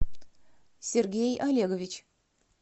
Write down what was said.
сергей олегович